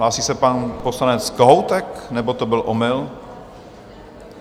Hlásí se pan poslanec Kohoutek, nebo to byl omyl?